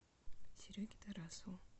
сереге тарасову